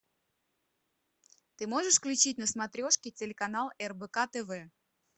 ты можешь включить на смотрешке телеканал рбк тв